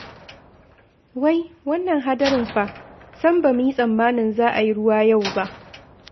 Wai wannan hadarin fa? Sam, ba mu yi tsammanin za a yi ruwa yau ba!